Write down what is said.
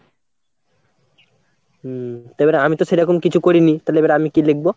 হম এবারে আমি তো সেরকম কিছু করিনি, তাহলে এবার আমি কি লিখবো?